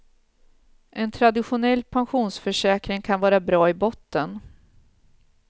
En traditionell pensionsförsäkring kan vara bra i botten.